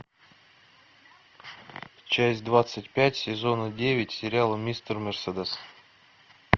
часть двадцать пять сезона девять сериала мистер мерседес